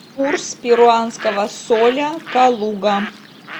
курс перуанского соля калуга